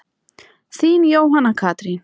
Þín, Jóhanna Katrín.